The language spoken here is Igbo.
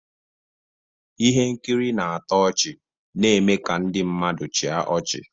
Ihe nkiri na-atọ ọchị na-eme ka ndị mmadụ chịa ọchị